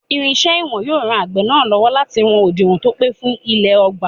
Irinṣẹ́ ìwọ̀n yóò ran àgbẹ̀ náà lọ́wọ́ láti wọn òdiwọ̀n tó pé fún ilẹ̀ ọgbà.